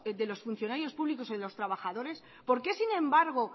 los funcionarios públicos y de los trabajadores por qué sin embargo